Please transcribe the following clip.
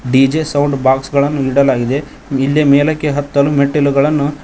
DJ sound box ಗಳನ್ನು ಇಡಲಾಗಿದೆ ಇಲ್ಲಿ ಮೇಲಕ್ಕೆ ಹತ್ತಲು ಮೆಟ್ಟಿಲುಗಳನ್ನು--